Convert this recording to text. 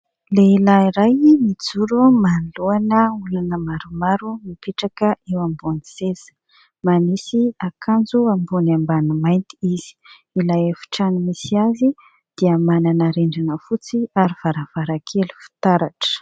Lehilahy iray mijoro manoloana olana maromaro mipetraka eo ambony seza, manisy akanjo ambony ambany mainty izy. Ilay efitrano misy azy dia manana rindrina fotsy ary varavarakely fitaratra.